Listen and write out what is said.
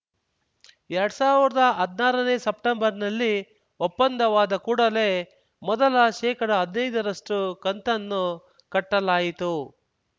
ಎರಡ್ ಸಾವಿರ್ದಾ ಹದ್ನಾರನೇ ಸೆಪ್ಟೆಂಬರ್‌ನಲ್ಲಿ ಒಪ್ಪಂದವಾದ ಕೂಡಲೇ ಮೊದಲ ಶೇಕಡಹದ್ನೈದ ರಷ್ಟುಕಂತನ್ನು ಕಟ್ಟಲಾಯಿತು